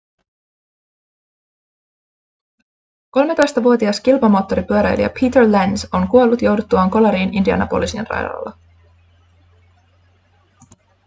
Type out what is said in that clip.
13-vuotias kilpamoottoripyöräilijä peter lenz on kuollut jouduttuaan kolariin indianapolisin radalla